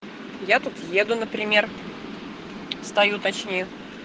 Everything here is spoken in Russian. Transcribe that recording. я тут еду например стою точнее